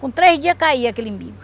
Com três dias caía aquele imbigo.